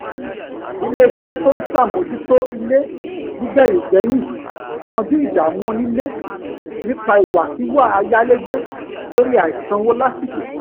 ilé-iṣẹ́ tó ń sàmójútó ilé nígbẹ̀yìngbẹ́yín yanjú ìdàmú onílé nípa ìwàkíwà ayalegbe lórí àìsanwó lásìkò